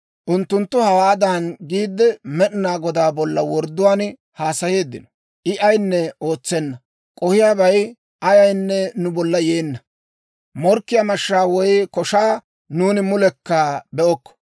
Unttunttu hawaadan giide, Med'inaa Godaa bolla wordduwaan haasayeeddino; «I ayinne ootsenna; k'ohiyaabay ayaynne nu bolla yeenna. Morkkiyaa mashshaa woy koshaa nuuni mulekka be'okko.